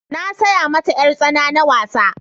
na saya mata yar tsana na wasa